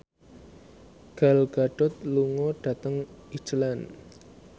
Gal Gadot lunga dhateng Iceland